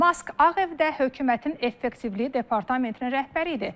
Mask Ağ Evdə hökumətin effektivliyi departamentinin rəhbəri idi.